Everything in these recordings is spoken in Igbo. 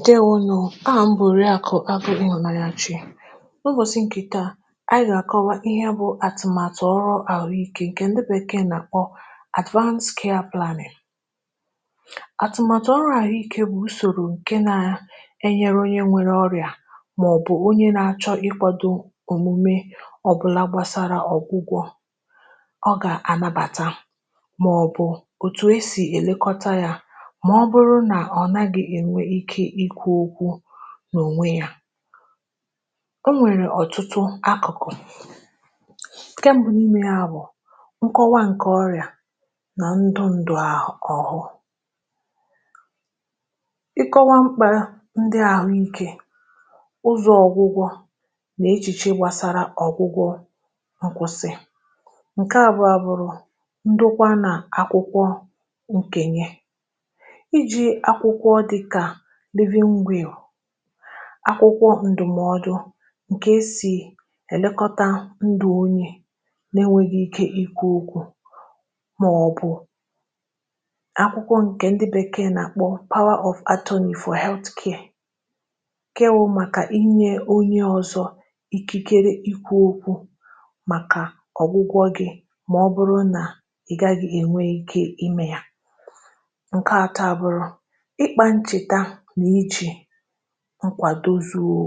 Ndeėwonù o! Aha m bụ oriakụ Agụ Ịhụnanyachi. N'ụbọ̀chị̀ ǹkè taa, anyị gà-àkọwa ihe bụ̀ àtụ̀màtụ̀ ọrụ àhụikė, ǹkè ǹdị Bekee na-akpọ bụ̀ Advance Care Planning. Atụ̀màtụ̀ ọrụ àhụikė bụ̀ usòrò ǹkè nà-enyere onye nwere ọrịa màọbụ̀ onye nà-achọ̇ ịkwȧdȯ òmume ọ̀bụlà gbasara ọ̀gwụgwọ́ọ gà-ànabàta màọbụ̀ òtù e sì èlekọta yȧ mà ọ bụrụ nà ọ̀naghị enwe ike ikwu okwu n'ònwe ya. O nwèrè ọ̀tụtụ akụ̀kụ̀, nkè mbụ n’ime onwé ya bụ̀ ǹkọwa ǹkẹ̀ ọrị̀à nà ndụ ǹdụ. Ịkọwa mkpà ndị ahụ̀ike, ụzọ̀ ọgwụgwọ, nà echìche gbàsara ọ̀gwụgwọ nkwụsị. Nkẹ̀ abụa abụrụ ndụkwa nà akwụkwọ ǹkenye. Iji akwụkwọ dịka Living Will, akwụkwọ ǹdùmọdụ ǹkè esì èlekọta ndụ̀ onye nà-enweghi ike ikwu okwù màọbụ̀ akwụkwọ ǹkè ndị bèkee na-àkpọ Power for Anthony for Health Care ǹkè wụ màkà inye onye ọzọ ikikere ikwu okwu màkà ọgwụgwọ gị mà ọ bụrụ nà ị gaghị enwe ike ime ya Nke atọ a bụrụ ịkpa ncheta na iji nkwàdó zuó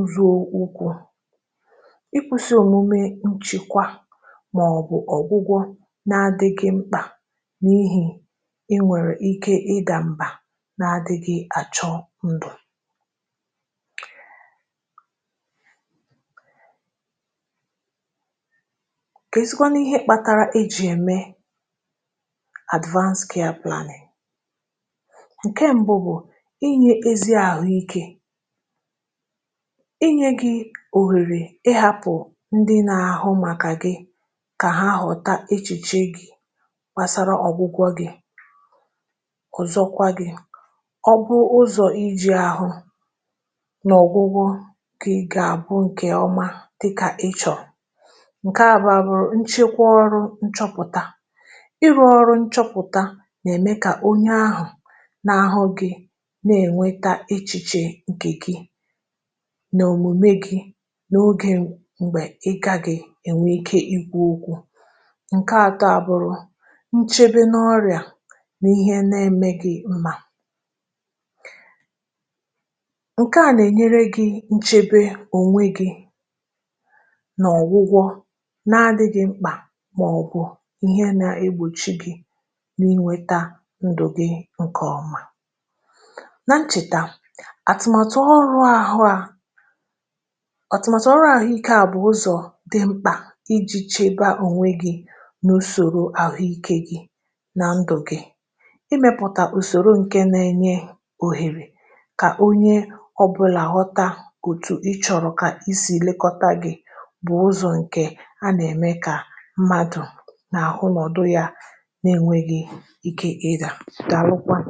ụzọ okwukwu̇. Ịkwụsị òmume nchekwa màọbụ̀ ọ̀gwụgwọ na-adịghị mkpà n’ihì na i nwèrè ike ịdà m̀bà n’adịgị àchọ ndụ̀. Keezikwanụ ihe kpatara ejì ème Advance Care Planning? Nkè mbụ bụ inyė ezi àhụike, inyė gị òhèrè ịhȧpụ̀ ndị nȧ-àhụ màkà gị kà ha ghọ̀ta echìche gị gbàsará ọ̀gwụgwọ gị̇. Ọzọkwa gị, ọ̀ bụ ụzọ̀ iji̇ ȧhụ̇ n’ọ̀gwụgwọ nke gà-àbụ ǹkè ọma dịkà ichọọ̀. Nke abụọ à bụ̀rụ̀ nchekwa ọrụ nchọpụ̀ta. Ịrụ̇ ọrụ nchọpụ̀ta nà-èmé kà onye ahụ̀ na-ahụ gị na-ènwetá echichè ǹkè gị nà òmùme gị n’ogė m̀gbè ịkagị ènwe ike ikwu̇ okwu. Nke àtó à bụrụ̇ nchebe n’ọrịà n’ihe na-eme gị̇ na Nke à nà-enyere gị̇ nchebe ònwe gị̇ n'ọ̀gwụgwọ na-adị̇gị̇ mkpà màọ̀bụ̀ ihe nà-egbòchi gị̇ n’inweta ndụ̀ gị ǹkè ọma. Na ncheta, àtụ̀maàtụ̀ ọrụ àhụ a atụ̀maàtụ̀ ọrụ àhụike a bụ̀ ụzọ̀ dị mkpà iji̇ chebe a ònwe gị n’ùsòrò àhụike gị na ndụ̀ gị̇. Imėpụ̀tà ùsòrò ǹkè nà-enye òhèrè kà onye ọbụlà ghọta òtù ịchọrọ̀ kà ísì lekọta gi̇ bụ̀ ụzọ̀ ǹkè a nà-ème kà mmadù nà-àhụ nọ̀dụ ya n'enweghi ike ịdà. Dàalụkwanụ!